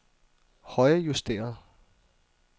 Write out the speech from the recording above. højrejusteret